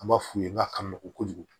An b'a f'u ye n k'a ka n nogojugu